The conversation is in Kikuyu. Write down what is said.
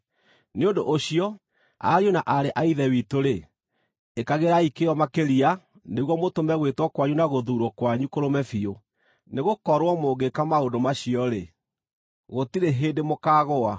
Nĩ ũndũ ũcio, ariũ na aarĩ a Ithe witũ-rĩ, ĩkagĩrai kĩyo makĩria nĩguo mũtũme gwĩtwo kwanyu na gũthuurwo kwanyu kũrũme biũ. Nĩgũkorwo mũngĩĩka maũndũ macio-rĩ, gũtirĩ hĩndĩ mũkaagũa,